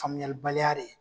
Faamuyalibaliya de ye.